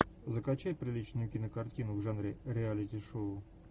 закачай приличную кинокартину в жанре реалити шоу